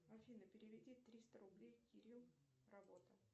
афина переведи триста рублей кирилл работа